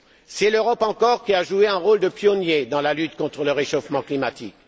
C'est l'Europe encore qui a joué un rôle de pionnier dans la lutte contre le réchauffement climatique.